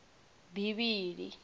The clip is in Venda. bivhili